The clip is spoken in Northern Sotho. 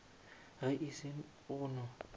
ge e se go no